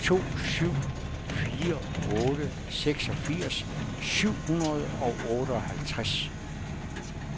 to syv fire otte seksogfirs syv hundrede og otteoghalvtreds